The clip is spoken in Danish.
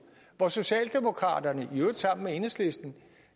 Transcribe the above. hvor socialdemokraterne i øvrigt sammen med enhedslisten